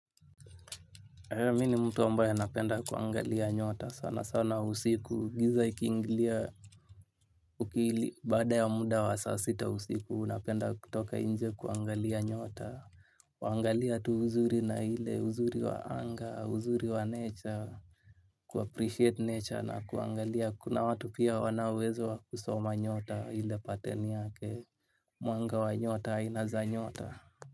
Mi ni mtu ambaye napenda kuangalia nyota sana sana usiku giza ikiingilia uki baada ya muda wa saa sita usiku napenda kutoka inje kuangalia nyota. Kuangalia tu uzuri na ile uzuri wa anga uzuri wa nature ku appreciate nature na kuangalia kuna watu pia wana uwezo wa kusoma nyota ile pattern yake mwanga wa nyota aina za nyota.